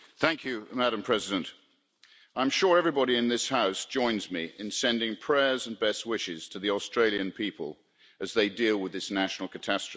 Madam President, I am sure everybody in this House joins me in sending prayers and best wishes to the Australian people as they deal with this national catastrophe.